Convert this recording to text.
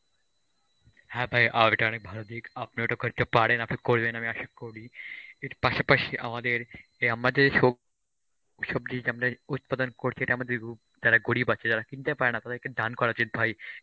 হ্যাঁ ভাই এটা ভালো দিক, আপনি ওটা করতে পারেন, আপনি করবেন আশা করি এর পাশাপাশি আমাদের এই আমাদের সোব~ সবজি যেটা আমরা উৎপাদন করছি এটা আমাদের যারা গরীব আছে যারা কিনতে পারেনা তাদেরকে দান করা উচিত ভাই